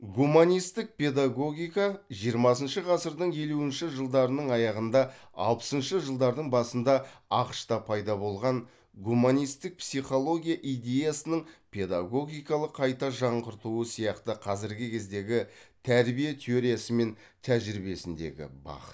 гуманистік педагогика жиырмасыншы ғасырдың елуінші жылдарының аяғында алпысыншы жылдардың басында ақш та пайда болған гуманистік психология идеясының педагогикалық қайта жаңғыртуы сияқты қазіргі кездегі тәрбие теориясы мен тәжірибиесіндегі бағыт